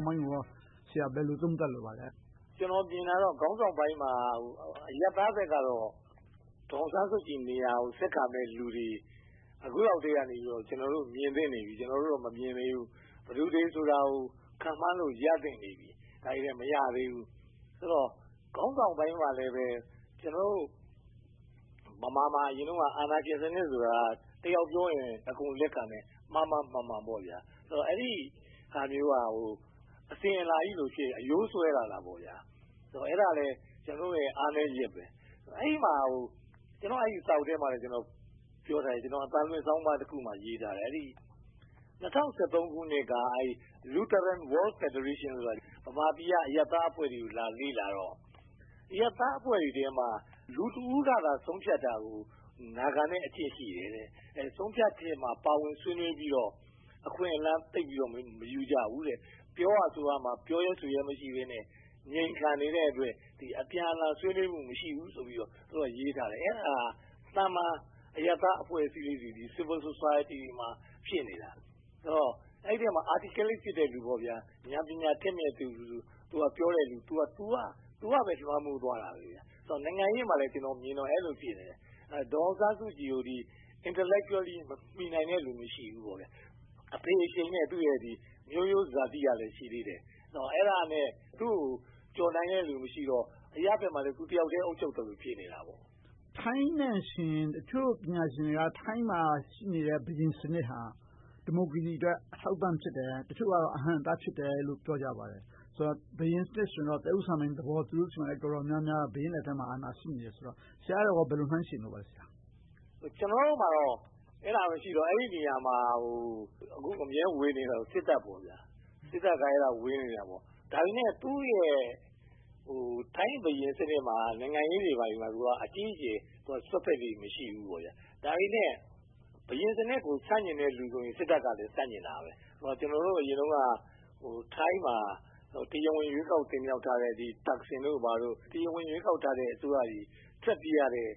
င်ပိုင်းကို ဘယ်လိုသုံးသပ်လိုပါလဲ။ ခေါင်းဆောင်ပိုင်းကတော့ ကျနော် မြင်တာတော့ ခေါင်းဆောင်ပိုင်းမှာ အရပ်သားဘက်ကတော့ ဒေါ်အောင်ဆန်းစုကြည်နေရာကို ဆက်ခံမယ့်လူတွေ အခုလောက်ကတည်းက ကျနော်တို့ မြင်သင့်နေပြီ။ ကျနော်ကတော့ မမြင်သေးဘူး။ ဘယ်သူတွေဆိုတာကို ခန့်မှန်းလို့ ရသင့်နေပြီ။ ဒါပေမဲ့ မရသေးဘူး။ ဆိုတော့ ခေါင်းဆောင်ပိုင်းမှာလဲ ကျနော်တို့ ဗမာမှာ အရင်တုန်းက အာဏာရှင်စနစ်ဆိုတာ တယောက်ပြောရင် အကုန်လက်ခံမယ်။ မှားမှားမှန်မှန် - အဲဒီဟာမျိုးက ဗမာပြည်မှာ တဖြည်းဖြည်းနဲ့ အစဉ်အလာကြီးလို့ဖြစ်နေပြီး အရိုးစွဲနေတယ်။ အဲဒါလဲ ကျနော်တို့ရဲ့ အားနည်းချက်။ ကျနော့်စာအုပ်ထဲမှာတော့ ပြောထားတယ်။ အသံလွှင့်ဆောင်းပါးတခုမှာ ရေးထားတယ် - ၂၀၁၃ ခုနှစ်က The Lutheran World Federation က ဗမာပြည်က အရပ်သားအဖွဲ့တွေကို သွားရောက်လေ့လာတော့ အရပ်သားအဖွဲ့တွေထဲမှာ လူတဦးကသာ ဆုံးဖြတ်တာကို နားခံလေ့ရှိတယ်။ ဆုံးဖြတ်ချက်ထဲမှာ ပါဝင်ဆွေးနွေးပြီးတော့ အခွင့်အလမ်းသိပ်ပြီးတော့ မယူကြဘူး။ ပြောဖို့ဆိုဖို့မှာ ပြောရဲဆိုရဲ မရှိကြဘဲနဲ့ ငြိမ်ခံနေတဲ့အတွက် အပြန်အလှန် ဆွေးနွေးမှု မရှိဘူးဆိုပြီးတော့ ရေးထားတယ်။ အဲဒါ သာမန်အရပ်သားအဖွဲ့လေးတွေ Civil Society မှာ ဖြစ်နေတာ။ ဆိုတော့ အဲဒီထဲမှာ Articulate ဖြစ်တဲ့လူ၊ ဉာဏ်ပညာထက်မြက်တဲ့လူ ပြောတာပဲ လွှမ်းမိုးသွားတယ်။ နိုင်ငံရေးမှာလည်း အဲဒီလိုပဲ မြင်တယ်။ ဒေါ်အောင်ဆန်းစုကြည်ကို Intellectually မီနိုင်တဲ့လူ မရှိဘူးပေါ့။ သူကလည်း အဖေအရှိန်နဲ့ မျိုးရိုးဇာတိကလည်း ရှိသေးတယ်။ အဲဒါနဲ့ သူကိုကျော်နိုင်တဲ့လူ မရှိတော့ - အရပ်ဘက်မှာလည်း သူတယောက်တည်း အုပ်ချုပ်သလို ဖြစ်နေတာပေါ့။ ထိုင်းနဲ့ယှဉ်ရင် တချို့ပညာရှင်တွေက ထိုင်းမှာရှိနေတဲ့ ဘုရင်စနစ်ဟာ ဒီမိုကရေစီအတွက် အထောက်အပံ့ဖြစ်တယ်။ တချို့ကတော့ အဟန့်အတား ဖြစ်တယ်လို့ ပြောကြပါတယ်။ ဘုရင်စနစ်ဆိုရင်တော့ သက်ဦးစံပိုင်စနစ်သဘော သူတို့ဆီမှာ တော်တော်များများ ဘုရင်လက်ထဲမှာ အာဏာရှိနေတယ်ဆိုတော့ အဲဒါကို ဘယ်လိုနှိုင်းယှဉ်လိုပါလဲ။ ကျနော်တို့ဆီမှာတော့ ရှိတယ်။ အဲဒီနေရာကို အမြဲတမ်းဝင်နေတာကတော့ စစ်တပ် ဖြစ်တယ်။ ဒါပေမဲ့ ထိုင်းဘုရင်စနစ်မှာ နိုင်ငံရေးမှာ သူက အကြီးအကျယ် ဝင်ရောက်စွက်ဖက်လေ့ မရှိဘူး။ ဒါပေမဲ့ ဘုရင်စနစ်ကို ဆန့်ကျင်တဲ့လူဆိုရင် စစ်တပ်ကလည်း ဆန့်ကျင်တယ်။ အရင်တုန်းက ထိုင်းမှာ တရားဝင်ရွေးကောက်တင်မြောက်ထားတဲ့ သက်ဆင်တို့ - တရားဝင်ရွေးကောက်ထားတဲ့ အစိုးရတွေ ထွက်ပြေးရတဲ့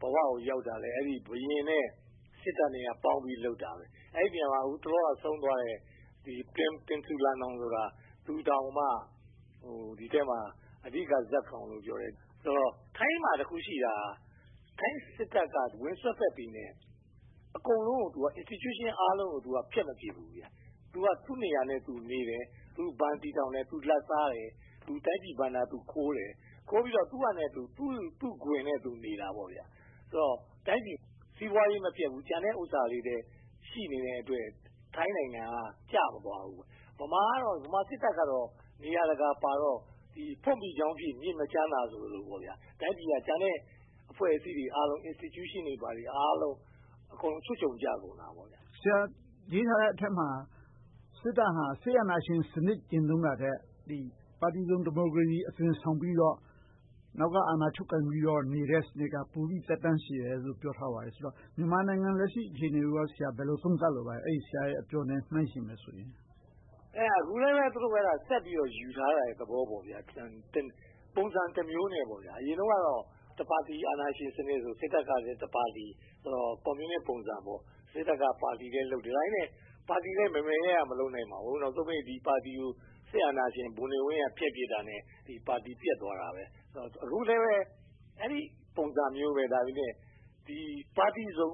ဘဝကိုရောက်တာ ဘုရင်နဲ့ စစ်တပ်တို့ပေါင်းပြီး လုပ်ခဲ့တာ။ အဲဒီနေရာမှာ တလောကဆုံးသွားတဲ့ ဗိုလ်ချုပ်ကြီး Prem Tinsulanonda တောင် ဒီထဲမှာ အဓိကဇာတ်ကောင်လို့ ပြောကြတယ်။ ဆိုတော့ ထိုင်းမှာတခုရှိတာက ထိုင်းစစ်တပ်က ဝင်စွက်ဖက်ပေမယ့် Institution အားလုံးကို ဖျက်မပြစ်ဘူး။ သူက သူ့နေရာနဲ့သူနေတယ်။ သူဘဏ်တည်ထောင်တယ်။ လာဘ်စားတယ်။ တိုင်းပြည်ဘဏ္ဍာခိုးတယ်။ ခိုးပြီးတော့ သူ့ခွင်နဲ့သူနေတယ်။ တိုင်းပြည်စီးပွားရေး မပျက်ဘူး။ ကျန်တဲ့နေရာတွေလည်း ရှိနေတဲ့အတွက် ထိုင်းနိုင်ငံက ကျမသွားဘူး။ ဗမာစစ်တပ်ကတော့ နေရာတကာပါတော့ ဖွတ် မီးချောင်းဖြစ် မြစ်မချမ်းသာ ဆိုသလို တိုင်းပြည်က ကျန်တဲ့အဖွဲ့အစည်းတွေအားလုံး အကုန်ချွတ်ခြုံကျကုန်တယ်။ ဆရာရေးထားတဲ့အထဲမှာ စစ်တပ်ဟာ စစ်အာဏာရှင်စနစ် ကျင့်သုံးတာထက် ပါတီစုံဒီမိုကရေစီ အသွင်ဆောင်ပြီးတော့၊ နောက်ကအာဏာချုပ်ကိုင်ပြီးတော့နေတဲ့ စနစ်က ပိုပြီးသက်တမ်းရှည်တယ်လို့ ပြောထားပါတယ်။ ဆိုတော့ မြန်မာနိုင်ငံရဲ့ လက်ရှိအခြေအနေကို ဘယ်လိုသုံးသပ်လိုပါလဲ။ အဲဒီဆရာရဲ့အပြောနဲ့ နှိုင်းယှဉ်မယ်ဆိုရင်။ အဲဒါက အခုလဲပဲ သူတို့ဆက်ယူထားတဲ့ သဘောပါပဲ။ ပုံစံတမျိုးနဲ့ပေါ့။ အရင်တုန်းကတော့ တပါတီအာဏာရှင်စနစ် စစ်တပ်ကလည်း တပါတီ - ကွန်မြူနစ်ပုံစံ - စစ်တပ်က ပါတီလည်းလုပ်တယ်။ ဒါပေမဲ့ ပါတီလည်း မယ်မယ်ရရ မလုပ်နိုင်ပါဘူး။ နောက်ဆုံးပိတ် ဒီပါတီကို စစ်အာဏာရှင်ဗိုလ်နေဝင်းက ဖျက်ပစ်လိုက်တာနဲ့ ပါတီပျက်သွားခဲ့တယ်။ အခုလဲပဲ အဲဒီပုံစံမျိုးပဲ။ ဒါပေမဲ့ ပါတီစုံ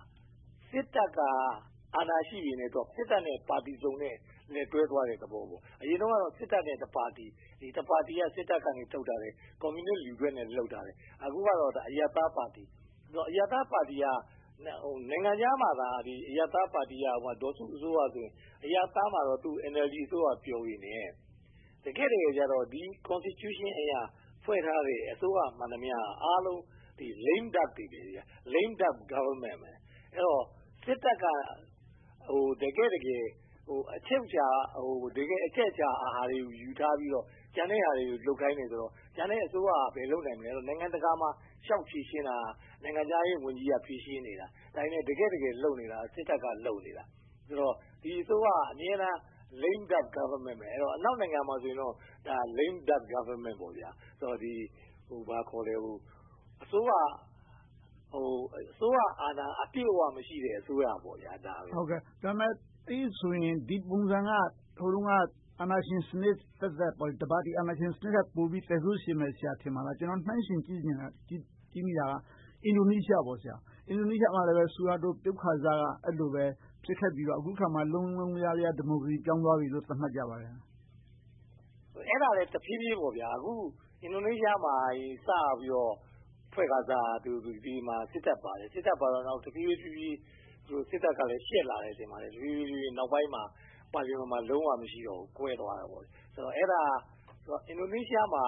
- စစ်တပ်က အာဏာရှိပေမယ့်၊ စစ်တပ်နဲ့ ပါတီစုံတို့ လက်တွဲသွားတဲ့သဘော။ အရင်တုန်းကတော့ စစ်တပ်နဲ့ တပါတီ။ ဒီပါတီက စစ်တပ်ကထုတ်ထားတဲ့ ကွန်မြူနစ်လူထွက်နဲ့ လုပ်ထားတယ်။ အခုကတော့ အရပ်သားပါတီ။ အရပ်သားပါတီက နိုင်ငံခြားမှာသာ ဒေါ်စုအစိုးရဆိုရင် အရပ်သားမှာဆို NLD ပါတီ ပြောပေမယ့် တကယ့်တကယ်ကြတော့ လက်ရှိအခြေခံဥပဒေအရ ဖွဲ့ထားတဲ့ အစိုးရမှန်သမျှ အားလုံးက Lame duck တွေ ဖြစ်နေတယ်။ Luck duck government ဖြစ်တယ်။ အဲဒီတော့ စစ်တပ်က တကယ့်တကယ် အချုပ်အခြာ၊ အချက်အချာ အာဏာတွေကို ယူထားပြီးတော့ ကျန်တဲ့ဟာတွေကို လုပ်ခိုင်းတယ်ဆိုတော့ ကျန်တဲ့အစိုးရက ဘယ်လုပ်နိုင်မလဲ။ နိုင်ငံတကာမှာ လျှောက်ဖြေရှင်းတာ နိုင်ငံခြားရေးဝန်ကြီးက ဖြေရှင်းနေတာ။ ဒါပေမဲ့ တကယ့်တကယ် လုပ်နေတာ စစ်တပ်က လုပ်နေတာ။ ဆိုတော့ ဒီအစိုးရက အမြဲတမ်း Lame duck government ပဲ ဖြစ်နေမှာ။ အနောက်နိုင်ငံမှာဆိုရင်တော့ Lame duck government လို့ ခေါ်ကြတယ်။ အစိုးရအာဏာ အပြည့်အဝ မရှိတဲ့ အစိုးရ ဖြစ်တယ်။ ဒါပေမဲ့ ဒီပုံစံက ဟိုတုန်းက အာဏာရှင်စနစ်သက်သက် တပါတီအာဏာရှင်စနစ်ထက်ပိုပြီး သက်ဆိုးရှည်မယ် ထင်ပါသလား။ ကျနော် နှိုင်းယှဉ်ကြည့်မိတာက အင်ဒိုနီးရှားမှာလည်း ဆူဟာတို ပြုတ်ခါစက အဲဒီလိုပဲ ဖြစ်ခဲ့ပြီးတော့ အခုအခါမှာ လုံးလုံးလျားလျား ဒီမိုကရေစီ ပြောင်းသွားပြီလို သတ်မှတ်ကြပါတယ်။ အဲဒါလဲ တဖြည်းဖြည်းပေါ့။ အခု အင်ဒိုနီးရှားမှာ စပြီးတော့ ဖွဲ့ခါစက အစိုးရမှာ စစ်တပ်ပါတယ်။ နောက်တဖြည်းဖြည်းနဲ့ စစ်တပ်ကလဲ ရှက်လာတယ်ထင်ပါတယ်။ တဖြည်းဖြည်းနဲ့ နောက်ပိုင်းမှာ ပါလီမန်မှာ လုံးဝမရှိတော့ဘူး။ ကွဲသွားခဲ့တယ်။ အဲဒါ အင်ဒိုနီးရှားမှာ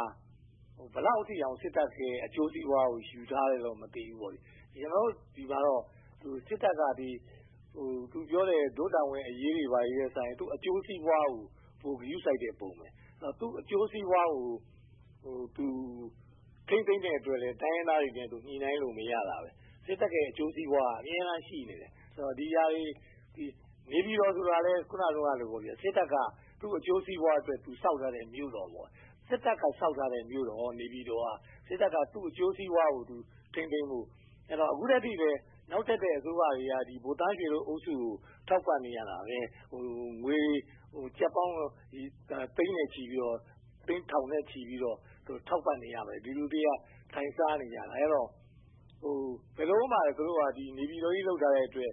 ဘယ်လောက်အထိ စစ်တပ်ရဲ့ အကျိုးစီးပွားကို ယူထားသလဲ မသိဘူး။ ကျနော်တို့ဆီမှာတော့ စစ်တပ်က သူပြောတဲ့ ဒို့တာဝန်အရေးတွေထက်စာရင် သူ့အကျိုးစီးပွားကို ပိုဂရုစိုက်တဲ့ပုံ ဖြစ်တယ်။ သူ့အကျိုးစီးပွားကို ထိန်းသိမ်းတဲ့အတွက် တိုင်းရင်းသားတွေနဲ့ ညှိနှိုင်းလို့ မရတာ။ စစ်တပ်ရဲ့ အကျိုးစီးပွားက အမြဲတမ်း ရှိနေတယ်။ နေပြည်တော်ဆိုတာလဲ အခုနပြောသလို စစ်တပ်က သူ့အကျိုးစီးပွားအတွက် သူဆောက်လုပ်ခဲ့တဲ့ မြို့တော် ဖြစ်တယ်။ စစ်တပ်က သူ့အကျိုးစီးပွားကို ထိန်းသိမ်းဖို့။ အခုထက်ထိလဲ နောက်တက်တဲ့ အစိုးရတွေက ဗိုလ်သန်းရွှေတို့အုပ်စုကို ထောက်ပံ့နေရတယ်။ ငွေကျပ်ပေါင်းသိန်းနဲ့ချီပြီးတော့ သိန်းထောင်နဲ့ချီပြီးတော့ ထောက်ပံ့နေရတယ်။ ဒီလူတွေက ထိုင်စားနေကြတာ။ အဲဒီတော့ ဘယ်လိုမှ သူတို့က နေပြည်တော်ကြီး လုပ်ထားတဲ့အတွက်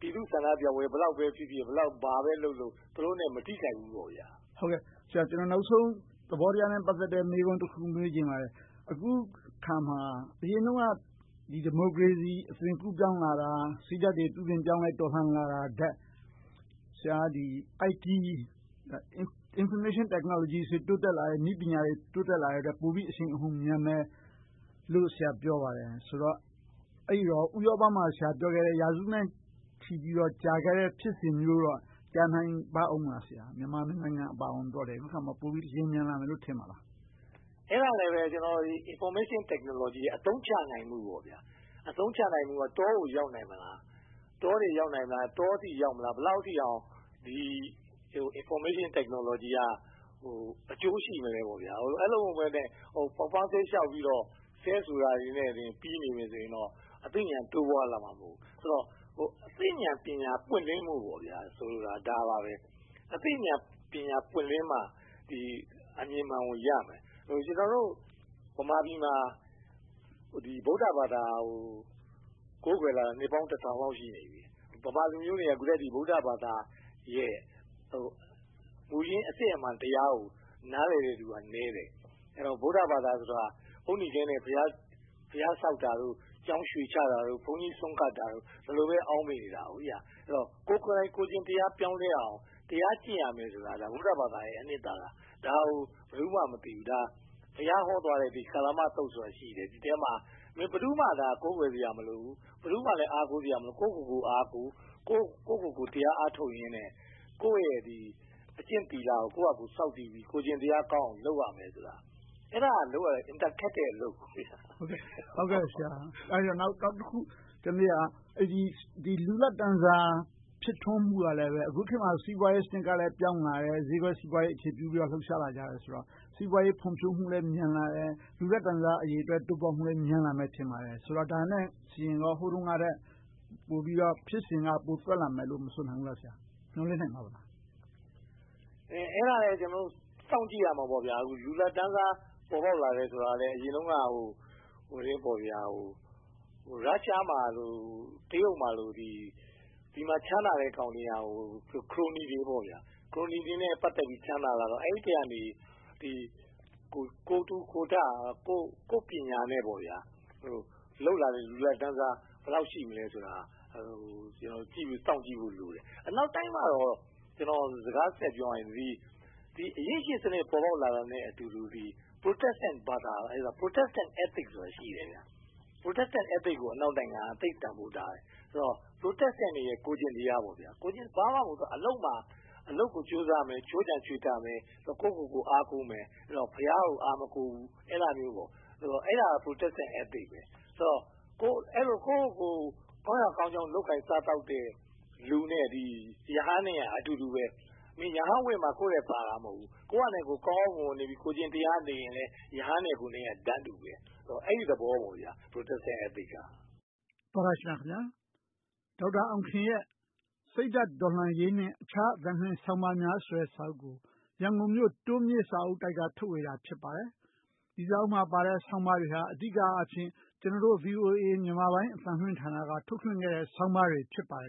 ပြည်သူဆန္ဒပြပွဲ ဘယ်လောက်ပဲဖြစ်ဖြစ်၊ ဘာပဲလုပ်လုပ် သူတို့ကို မထိခိုက်ဘူးပေါ့။ ကျနော် နောက်ဆုံးသဘောတရားနဲ့ ပတ်သက်တဲ့ မေးခွန်းတခု မေးချင်ပါတယ်။ အခုအခါမှာ အရင်တုန်းက ဒီမိုကရေစီ အသွင်ကူးပြောင်းလာတာ၊ စိတ်ဓါတ်တွေ ပြုပြင်ပြောင်းလဲလာတာထက် ဆရာက IT – Information Technology နည်းပညာတွေ တိုးတက်လာတဲ့အတွက် ပိုပြီးအရှိန်အဟုန်မြန်မယ်လို့ ပြောပါတယ်။ ဆိုတော့ ဆရာပြောခဲ့တဲ့ ဥရောပမှာ ရာစုနဲ့ချီပြီးတော့ ဖြစ်ခဲ့တဲ့ဖြစ်စဉ်မျိုးတော့ ကြာနိုင်ပါ့အုံးမလား။ မြန်မာနိုင်ငံအပါအဝင် အခုအခါမှာ ပိုပြီးလျင်မြန်လာနိုင်မယ် ထင်ပါသလား။ အဲဒါကလဲ Information Technology ကို အသုံးချနိုင်မှုက တောကို ရောက်နိုင်မလား။ တောအထိရောက်မလား။ ဘယ်လောက်အထိအောင် Information Technology က အကျိုးရှိမလဲပေါ့။ အဲဒီလိုမဟုတ်ဘဲနဲ့ ပေါက်ပန်းဈေးလျှောက်ပြီးတော့ ဆဲဆိုတာတွေနဲ့ ပြီနေမယ်ဆိုရင်တော့ အသိဉာဏ်တိုးပွားလာမှာ မဟုတ်ဘူး။ ဆိုတော့ အသိဉာဏ်ပညာ ပွင့်လင်းဖို့ကို ဆိုလိုတာ ဒါပါပဲ။ အသိဉာဏ်ပညာ ပွင့်လင်းမှ အမြင်မှန်ကိုရမယ်။ ကျနော်တို့ ဗမာပြည်မှာ ဗုဒ္ဓဘာသာကို ကိုးကွယ်လာတာ နှစ်ပေါင်းတစ်ထောင်လောက် ရှိလာပြီ။ ဗမာလူမျိုးတွေက အခုထိ ဗုဒ္ဓဘာသာရဲ့ မူရင်းအစစ်အမှန်တရားကို နားလည်တဲ့လူက နည်းတယ်။ ဗုဒ္ဓဘာသာဆိုတာ အုတ်နီခဲနဲ့ ဘုရားတည်တာ၊ ကျောင်းရွှေချတာတို့၊ ဘုန်းကြီးဆွမ်းကပ်တာတို့ ဒီလိုပဲ အောက်မေ့နေတာ။ ကိုယ်ကိုယ်တိုင် ကိုယ့်ကျင့်တရား ပြောင်းလဲအောင် တရားကျင့်ရမယ်ဆိုတာ ဗုဒ္ဓဘာသာရဲ့ အနှစ်သာရ ဖြစ်တယ်ဆိုတာကို ဘယ်သူမှ မသိဘူး။ ဘုရားဟောသွားတဲ့ ကာလမသုတ်ဆိုတာရှိတယ်။ ဒီအထဲမှာ မင်းဘယ်သူကိုမှာ ကိုးကွယ်စရာ မလိုဘူး။ ဘယ်သူကိုမှ အားကိုးစရာ မလိုဘူး။ ကိုယ့်ကိုယ်ကို အားကိုး။ ကိုယ့်ကိုယ်ကို တရားအားထုတ်ရင်နဲ့ ကိုယ့်ရဲ့အကျင့်သီလကို ဆောက်တည်ပြီး ကိုယ်ကျင့်တရားကောင်းအောင် လုပ်ရမယ်ဆိုတာ ပြောထားတယ်။ အဲဒါလုပ်ရတာ အင်မတန်ခက်တဲ့အလုပ်။ နောက်တခုက လူလတ်တန်းစား ဖြစ်ထွန်းမှုကလဲ အခုခေတ်မှာ စီးပွားရေးစနစ်ကလည်း ပြောင်းလာလတယ်။ ဈေးကွက်စီးပွားရေး အခြေပြုပြီးတော့ လှုပ်ရှားလာကြတယ်ဆိုတော့ စီးပွားရေးဖွံ့ဖြိုးမှုလည်း မြန်လာတယ်။ လူလတ်တန်းစား တိုးတက်မှုလည်း မြန်လာမယ် ထင်ပါတယ်။ ဒါကိုကြည့်ရင် ဟိုတုန်းကထက် ဖြစ်စဉ်က ပိုသွက်လာမယ်လို့ မဆိုနိုင်ဘူးလား။ မျှော်လင့်နိုင်ပြီလား။ အဲဒါလဲ ကျနော်တို့ စောင့်ကြည့်ရမှာပေါ့။ လူလတ်တန်းစား ပေါ်ပေါက်လာတယ်ဆိုတာလဲ အရင်တုန်းက ရုရှားမှာလို၊ တရုတ်မှာလို ဒီမှာချမ်းသာတဲ့ကောင်တွေက ခရိုနီတွေ။ ခရိုနီတွေနဲ့ ပတ်သက်ပြီး ချမ်းသာလာတော့ အဲဒီထဲကနေ ကိုယ်ထူကိုယ်ထ ကိုယ့်ပညာနဲ့ လုပ်လာတဲ့ လူလတ်တန်းစား ဘယ်လောက်ရှိမလဲဆိုတာ စောင့်ကြည့်ဖို့လိုတယ်။ အနောက်တိုင်းမှာတော့ ကျနော် စကားဆက်ပြောရရင် အရင်းရှင်စနစ် ပေါ်ပေါက်လာတာနဲ့အတူတူ Protestant Ethics ဆိုတာ ရှိတယ်။ Protestant Ethics ကို အနောက်နိုင်ငံတွေက သိပ်တန်းဖိုးထားတယ်။ သူတို့ရဲ့ ကိုယ်ကျင့်တရားပေါ့။ ဘာမှမဟုတ်ဘူး အလုပ်မှာ ကြိုးစားရမယ်။ ခြိုးခြံချွေတာမယ်။ ကိုယ့်ကိုယ်ကို အားကိုးမယ်။ ဘုရားကို အားမကိုးဘူး။ အဲဒါမျိုးတွေ။ အဲဒါက Protestant Ethics ဖြစ်တယ်။ အဲဒီလို ကိုယ့်ကိုယ်ကို ကောင်းရာကောင်းကြောင်း လုပ်ကိုင်စားသောက်တဲ့လူနဲ့ ရဟန်းတို့က အတူတူပဲ။ ရဟန်းဝတ်မှ ကိုယ့်ထက်သာတာ မဟုတ်ဘူး။ ကိုယ်ဟာနဲ့ကိုယ် ကောင်းကောင်းမွန်မွန်နေပြီး ကိုယ်ကျင့်တရား ရှိနေရင်လဲ ရဟန်းနဲ့ကိုယ်က တန်းတူ ဖြစ်တယ်။ အဲဒီသဘောဖြစ်တယ် Protestant Ethics က။ နဂိုချုပ်ကောက်နုတ်ချက် - သောတရှင်များခင်များ… ဒေါက်တာအောင်ခင်ရဲ့ စိတ်ဓါတ်တော်လှန်ရေးနဲ့ အခြားအသံလွှင့်ဆောင်းပါးများဆိုတဲ့ စာအုပ်ကို ရန်ကုန်မြို့ တိုးမြစ်စာအုပ်တိုက်က ထုတ်ဝေထားတာ ဖြစ်ပါတယ်။ ဒီစာအုပ်မှာပါတဲ့ ဆောင်းပါးတွေဟာ အဓိကအားဖြင့် ကျနော်တို့ VOA မြန်မာပိုင်းအသံလွှင့်ဌာနက ထုတ်လွှင့်ခဲ့တဲ့ ဆောင်းပါးတွေ ဖြစ်ပါတယ်